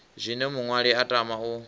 zwine muṅwali a tama u